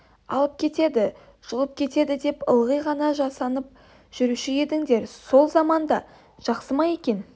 алып кетеді жұлып кетеді деп ылғи ғана жасанып жүруші едіңдер сол заман да жақсы ма екен